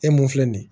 E mun filɛ nin ye